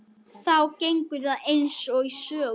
Þá gengur það eins og í sögu.